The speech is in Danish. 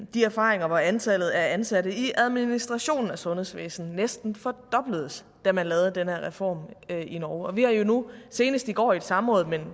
de erfaringer af at antallet af ansatte i administrationen i sundhedsvæsenet næsten fordobledes da man lavede den her reform i norge vi har jo nu senest i går i et samråd men